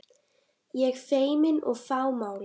Ég feimin og fámál.